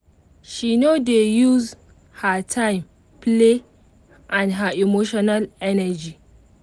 she no dey use her time play and her emotional energy